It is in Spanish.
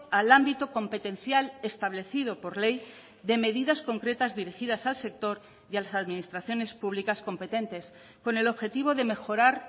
al ámbito competencial establecido por ley de medidas concretas dirigidas al sector y a las administraciones públicas competentes con el objetivo de mejorar